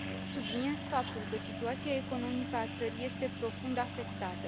Subliniez faptul că situația economică a țării este profund afectată.